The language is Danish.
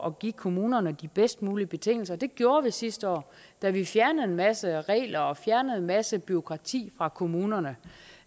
at give kommunerne de bedst mulige betingelser det gjorde vi sidste år da vi fjernede en masse regler og fjernede en masse bureaukrati fra kommunerne